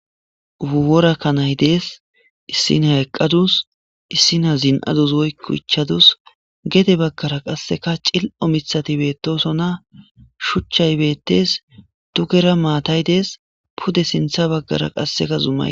uworakka nay dees issinahyqqadus issina zin7adus woykuchadus gede baggara qasseka cil7o mithati bettosona shuchchay bettes dukera maatay dees pude sintha baggara qasseka zumay